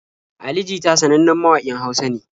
Ali jita sanannen mawaƙin Hausa ne.